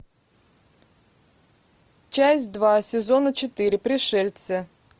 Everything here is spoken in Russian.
часть два сезона четыре пришельцы